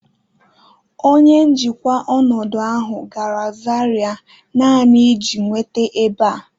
Onye njikwa ọnọdụ ahụ gara zaria naanị iji nweta ebe a